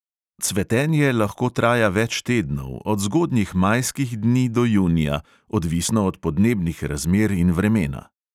Cvetenje lahko traja več tednov, od zgodnjih majskih dni do junija, odvisno od podnebnih razmer in vremena.